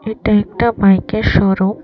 এটা একটা বাইকের শোরুম ।